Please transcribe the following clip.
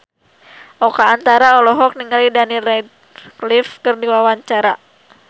Oka Antara olohok ningali Daniel Radcliffe keur diwawancara